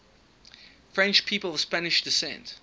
french people of spanish descent